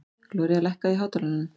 Gloría, lækkaðu í hátalaranum.